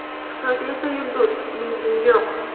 Xitoyda esa yulduz, uning tengi yo‘q.